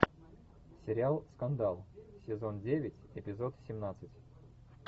сериал скандал сезон девять эпизод семнадцать